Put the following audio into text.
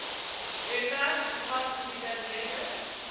webwerf bevat gedetailleerde